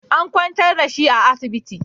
An kwantar da shi a asibiti